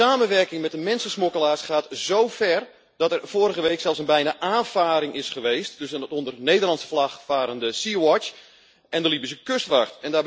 De samenwerking met de mensensmokkelaars gaat zo ver dat er vorige week zelfs bijna een aanvaring is geweest tussen het onder Nederlandse vlag varende Sea Watch en de Libische kustwacht.